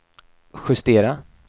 justera